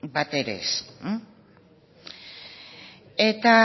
batere